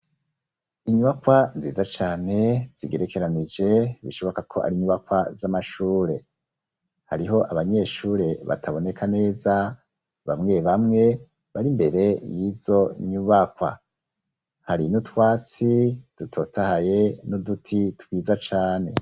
Inyubakwa nziza cane zigerekeranije, bishoboka ko ari inyubakwa z'amashure, hariho abanyeshure bataboneka neza, bamwe bamwe bari mbere y'izo nyubakwa, hari n'utwatsi dutotahaye n'uduti twiza cane.